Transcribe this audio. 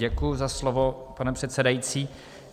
Děkuji za slovo, pane předsedající.